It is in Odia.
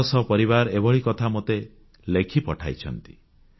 ଶହ ଶହ ପରିବାର ଏଭଳି କଥା ମୋତେ ଲେଖି ପଠାଇଛନ୍ତି